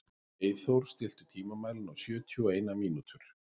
Eyþór, stilltu tímamælinn á sjötíu og eina mínútur.